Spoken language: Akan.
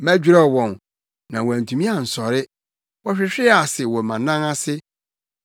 Mɛdwerɛw wɔn, na wɔantumi ansɔre, wɔhwehwee ase wɔ mʼanan ase.